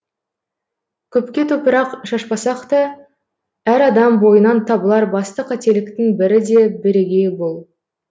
көпке топырақ шашпасақ та әр адам бойынан табылар басты қателіктің бірі де бірегейі бұл